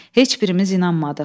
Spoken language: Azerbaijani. Heç birimiz inanmadıq.